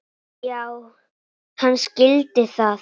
Já, hann skildi það.